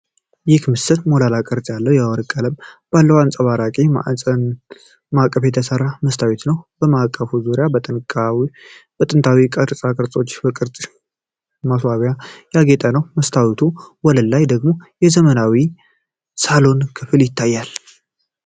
ይህ ምስል ሞላላ ቅርጽ ያለው፣ የወርቅ ቀለም ባለው አንጸባራቂ ማዕቀፍ የተሠራ መስታወት ነው። የማዕቀፉ ዙሪያ በጥንታዊ ቅርጻ ቅርጾችና በቅጠል ቅርጽ ማስዋቢያዎች ያጌጠ ነው። በመስታወቱ ወለል ላይ ደግሞ የዘመናዊ ሳሎን ክፍል ይታያል።